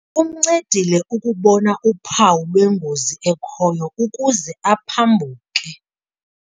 Kumncedile ukubona uphawu lwengozi ekhoyo ukuze aphambuke.